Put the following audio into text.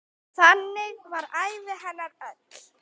Þannig var ævi hennar öll.